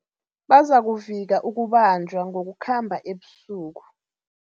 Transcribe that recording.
Bazakuvika ukubanjwa ngokukhamba ebusuku.